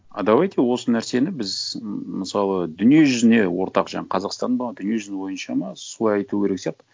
а давайте осы нәрсені біз ммм мысалы дүниежүзіне ортақ жаңа қазақстан ба дүниежүзі бойынша ма солай айту керек сияқты